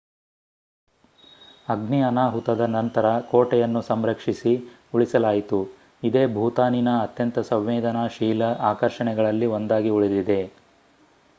ಅಗ್ನಿ ಅನಾಹುತದ ನಂತರ ಕೋಟೆಯನ್ನು ಸಂರಕ್ಷಿಸಿ ಉಳಿಸಲಾಯಿತು ಇದೇ ಭೂತಾನಿನ ಅತ್ಯಂತ ಸಂವೇದನಾಶೀಲ ಆಕರ್ಷಣೆಗಳಲ್ಲಿ ಒಂದಾಗಿ ಉಳಿದಿದೆ